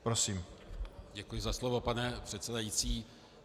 Děkuji za slovo, pane předsedající.